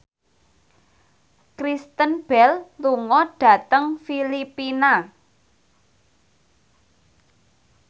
Kristen Bell lunga dhateng Filipina